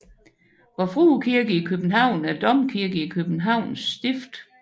Vor Frue Kirke i København er domkirke i Københavns Stift